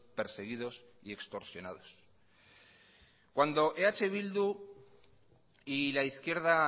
perseguidos y extorsionados cuando eh bildu y la izquierda